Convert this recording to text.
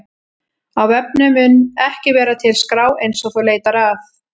Á vefnum mun ekki vera til skrá eins og þú leitar að.